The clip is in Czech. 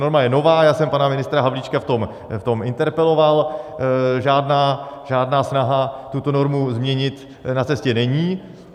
Norma je nová, já jsem pana ministra Havlíčka v tom interpeloval, žádná snaha tuto normu změnit na cestě není.